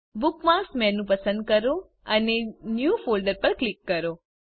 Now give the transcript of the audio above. bookmarks menu પસંદ કરો અને ન્યૂ ફોલ્ડર પર ક્લિક કરો